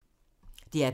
DR P3